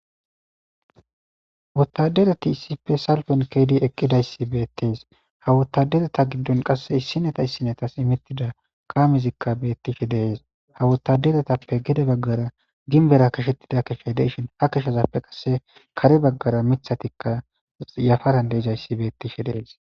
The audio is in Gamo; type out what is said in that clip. Wottadereti issife salfen ke'idi eqqidayssi beettees ha wottadereta giddon qasse issineta issinetas imwttida kaamezikka bettishe de'es ha wottaderetappe gede baggara ginbera kashettida kifiley de'ishin ha keshazappe qasse kare baggara miththatikka yafaran de'izayssi beettishe dees.